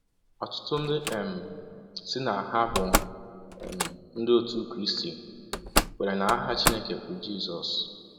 Ọtụtụ ndị um sị na ha bụ um um Ndị otu Krịstị kweere na aha Chineke bụ Jisọs.